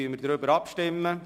Dann stimmen wir darüber ab.